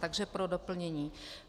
Takže pro doplnění.